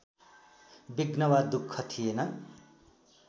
विघ्न वा दुःख थिएन